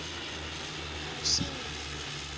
Það er síminn til þín.